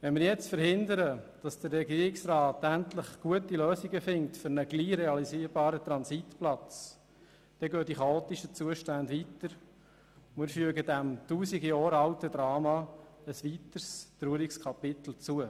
Wenn wir jetzt verhindern, dass der Regierungsrat endlich gute Lösungen findet für einen bald realisierbaren Transitplatz, dann dauern die chaotischen Zuständen an, und wir fügen dem Tausend Jahre alten Drama ein weiteres Kapitel hinzu.